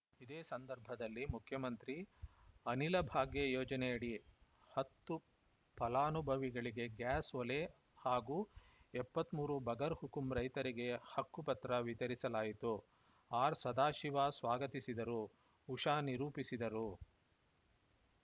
ಇದೇ ಸಂದರ್ಭದಲ್ಲಿ ಮುಖ್ಯಮಂತ್ರಿ ಅನಿಲ ಭಾಗ್ಯ ಯೋಜನೆಯಡಿ ಹತ್ತು ಫಲಾನುಭವಿಗಳಿಗೆ ಗ್ಯಾಸ್‌ ಒಲೆ ಹಾಗೂ ಎಪ್ಪತ್ತ್ ಮೂರು ಬಗರ್‌ ಹುಕಂ ರೈತರಿಗೆ ಹಕ್ಕು ಪತ್ರ ವಿತರಿಸಲಾಯಿತು ಆರ್‌ಸದಾಶಿವ ಸ್ವಾಗತಿಸಿದರು ಉಷಾ ನಿರೂಪಿಸಿದರು